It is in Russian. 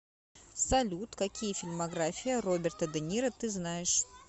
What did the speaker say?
салют какие фильмография роберта де ниро ты знаешь